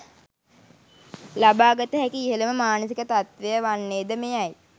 ලබාගත හැකි ඉහළම මානසික තත්ත්වය වන්නේ ද මෙයයි.